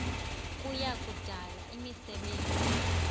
kuya kudala imisebenzi